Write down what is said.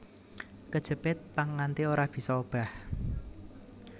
Kejepit pang nganti ora bisa obah